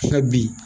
bi